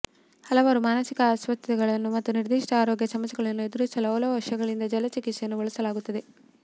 ಹಲವಾರು ಮಾನಸಿಕ ಅಸ್ವಸ್ಥತೆಗಳನ್ನು ಮತ್ತು ನಿರ್ದಿಷ್ಟ ಆರೋಗ್ಯ ಸಮಸ್ಯೆಗಳನ್ನು ಎದುರಿಸಲು ಹಲವು ವರ್ಷಗಳಿಂದ ಜಲ ಚಿಕಿತ್ಸೆಯನ್ನು ಬಳಸಲಾಗುತ್ತದೆ